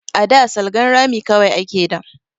A da salgan rami kawai ake da